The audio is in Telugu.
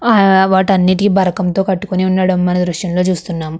ఆ ఆ వాటన్నిటికి బరకంతో కట్టుకొని ఉండడం మన దృశ్యం లో చూస్తున్నాం.